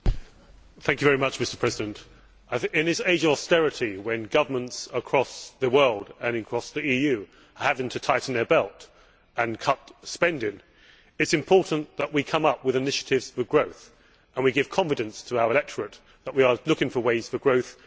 Mr President, in this age of austerity when governments across the world and across the EU are having to tighten their belts and cut spending, it is important that we come up with initiatives for growth, and give confidence to our electorate that we are seeking ways for growth to create jobs.